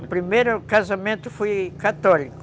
O primeiro casamento foi católico.